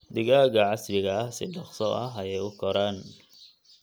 Digaagga casriga ah si dhakhso ah ayey u koraan.